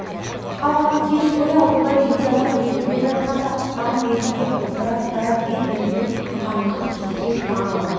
қалғаны кеш бойы алтыбай жете алмай келе жатқанда ыққан бетінде бытырап тарап бет-бетімен қаңғып кеткен тағы